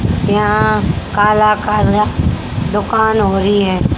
यहां काला काला दुकान हो रही है।